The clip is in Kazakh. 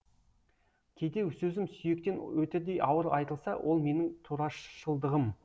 кейде сөзім сүйектен өтердей ауыр айтылса ол менің турашылдығым